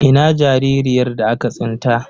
Ina jaririyar da aka tsinta?